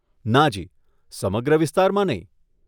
નાજી, સમગ્ર વિસ્તારમાં નહીં.